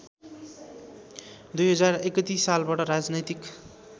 २०३१ सालबाट राजनैतिक